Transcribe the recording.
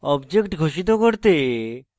object ঘোষিত করতে